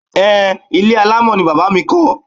Ehn, ilé alámọ̀ ni Bàbá mi kọ́.